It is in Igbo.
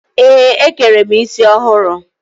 Ee, e kere m isi ọhụrụ.